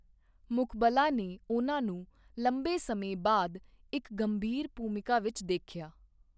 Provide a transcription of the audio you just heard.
ਮੁਕਬਲਾ ਨੇ ਉਹਨਾਂ ਨੂੰ ਲੰਬੇ ਸਮੇਂ ਬਾਅਦ ਇੱਕ ਗੰਭੀਰ ਭੂਮਿਕਾ ਵਿੱਚ ਦੇਖਿਆ।